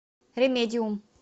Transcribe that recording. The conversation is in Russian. ремедиум